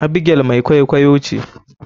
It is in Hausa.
Abigail mai kwaikwaiyo ce.